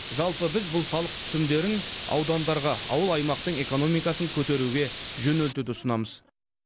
жалпы біз бұл салық түсімдерін аудандарға ауыл аймақтың экономикасын көтеруге жөнелтуді ұсынамыз